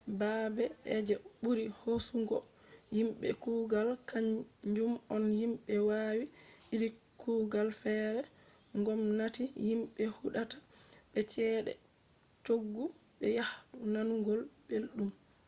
baabe je ɓuri hoosugo yimɓe kugal kaanjum on yimbe wawi iri kugal feere ngomnati yimɓe huɗata be ceede cooggu be yahdu nanugo belɗum